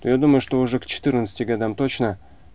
я думаю что уже к четырнадцати годам точно